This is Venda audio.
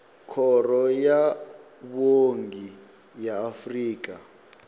khoro ya vhuongi ya afrika